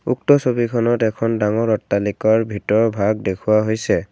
উক্ত ছবিখনত এখন ডাঙৰ অট্টালিকাৰ ভিতৰৰ ভাগ দেখুওৱা হৈছে।